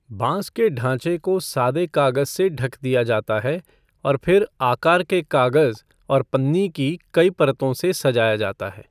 बांस के ढांचे को सादे कागज़ से ढक दिया जाता है और फिर आकार के कागज़ और पन्नी की कई परतों से सजाया जाता है।